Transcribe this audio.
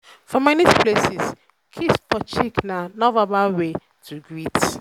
um for street or informal setting informal setting pipo dey um greet um with fist bump